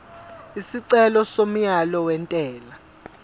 isicelo somyalo wentela